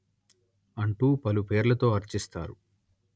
అంటూ పలుపేర్లతో అర్చిస్తారు